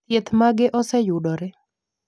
thieth mage oseyudore